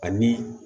Ani